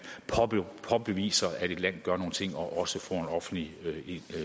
påviser at et land gør nogle ting og man også får en offentlig